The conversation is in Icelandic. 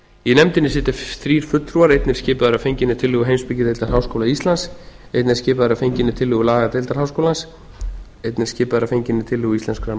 í nefndinni sitja þrír fulltrúar einn er skipaður að fenginni tillögu heimspekideildar háskóla íslands einn er skipaður að fenginni tillögu lagadeildar háskólans einn er skipaður að fenginni tillögu íslenskrar